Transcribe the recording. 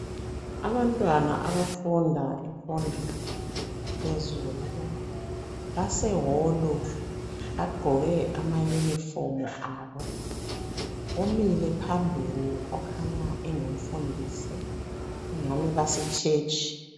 Abantwana abafunda imfundo yaphezulu base hall bagqoke ama uniform abo . Umile phambili okhanya engumfundisi .Kungani base church .